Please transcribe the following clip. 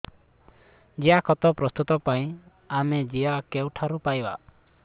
ଜିଆଖତ ପ୍ରସ୍ତୁତ ପାଇଁ ଆମେ ଜିଆ କେଉଁଠାରୁ ପାଈବା